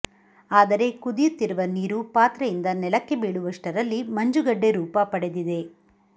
ಆದರೆ ಕುದಿಯುತ್ತಿರುವ ನೀರು ಪಾತ್ರೆಯಿಂದ ನೆಲಕ್ಕೆ ಬೀಳುವಷ್ಟರಲ್ಲಿ ಮಂಜುಗಡ್ಡೆ ರೂಪ ಪಡೆದಿದೆ